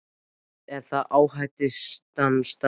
Er það ásættanleg staða?